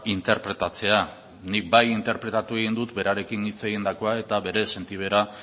interpretatzea nik bai interpretatu egin dut berarekin hitz egindakoa eta bere sentibera